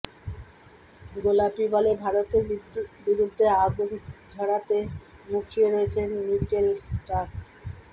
গোলাপী বলে ভারতের বিরুদ্ধে আগুন ঝড়াতে মুখিয়ে রয়েছেন মিচেল স্টার্ক